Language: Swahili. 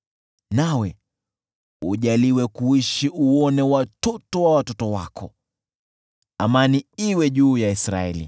nawe ujaliwe kuishi uone watoto wa watoto wako. Amani iwe juu ya Israeli.